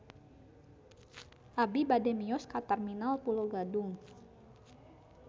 Abi bade mios ka Terminal Pulo Gadung